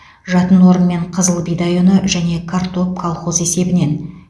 жатын орын мен қызыл бидай ұны және картоп колхоз есебінен